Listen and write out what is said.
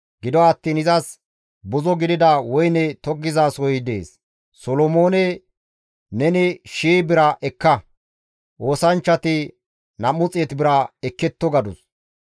Gido attiin taas buzo gidida woyne tokkizasohoy dees; Solomoone neni shii bira ekka; oosanchchati 200 bira ekketto» gadus.